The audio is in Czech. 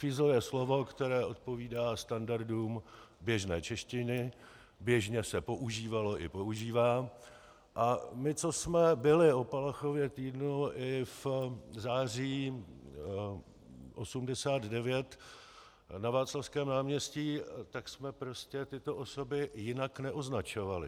Fízl je slovo, které odpovídá standardům běžné češtiny, běžně se používalo i používá, a my, co jsme byli o Palachově týdnu i v září 1989 na Václavském náměstí, tak jsme prostě tyto osoby jinak neoznačovali.